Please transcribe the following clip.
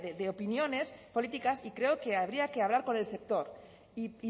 de opiniones políticas y creo que habría que hablar con el sector y